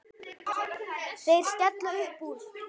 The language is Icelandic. Þeir skella upp úr.